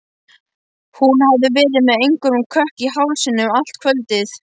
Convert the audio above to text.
Hún hafði verið með einhvern kökk í hálsinum allt kvöldið.